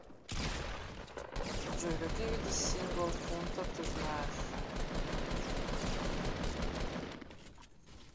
джой какие виды символ фунта ты знаешь